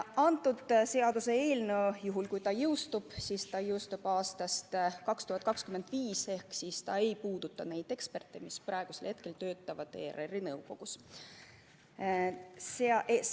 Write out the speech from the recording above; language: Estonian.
Kõnealune seaduseelnõu jõustub – juhul, kui ta jõustub – aastal 2025, seega ei puuduta see neid eksperte, kes praegu ERR-i nõukogus töötavad.